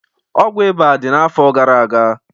Ọgwụ ịba dị n'afọ gara aga